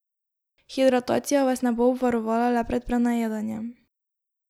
Hidratacija vas ne bo obvarovala le pred prenajedanjem.